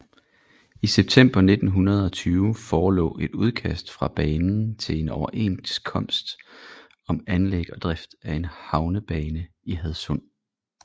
I september 1920 forelå et udkast fra banen til en overenskomst om anlæg og drift af en havnebane i Hadsund